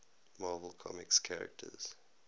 marvel comics characters